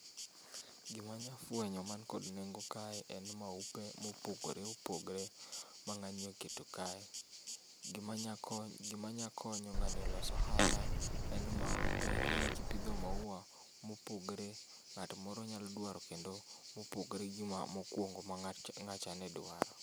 Gima anya fenyo man kod nengo kae gin maupe ma opogore opogore ma ngani oketo kae. Gima nya konyo ngani olos ohala en maupe, ingeni kipidho maua mopogore, ng'ato moro nyalo dwaro kendo mopogore gi mokuongo ma ngacha ne dwaro